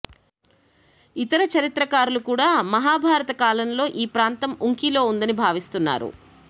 ఇతర చరిత్రకారులు కూడా మాభాభారతకాలంలో ఈ ప్రాంతం ఉంకిలో ఉందని భావిస్తున్నారు